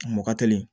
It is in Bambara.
Mɔgɔ teli